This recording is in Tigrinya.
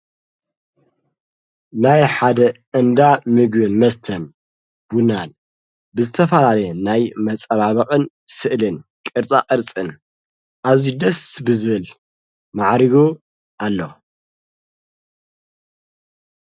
ናይ ሓደ እንዳ ምግቢን መስተም ብናን ብዝተፋላለ ናይ መጸባበቕን ስእልን ቕርጻ ዕርጽን ኣዙይ ደስ ብዝብል መዓሪጉ ኣለ።